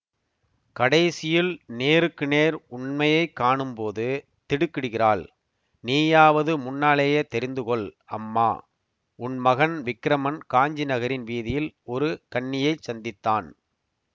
கடைசியில் நேருக்கு நேர் உண்மையை காணும் போது திடுக்கிடுகிறாள் நீயாவது முன்னாலேயே தெரிந்துகொள் அம்மா உன் மகன் விக்கிரமன் காஞ்சி நகரின் வீதியில் ஒரு கன்னியைச் சந்தித்தான்